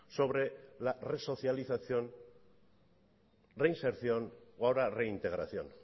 sobre la resocialización reinserción o ahora reintegración